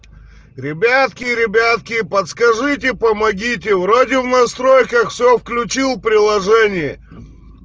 ребятки ребятки подскажите помогите вроде в настройках все включил приложении